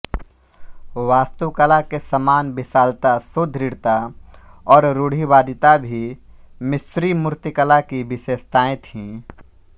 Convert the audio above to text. वास्तुकला के समान विशालता सुदृढ़ता और रूढ़िवादिता भी मिस्री मूर्तिकला की विशेषताएँ थीं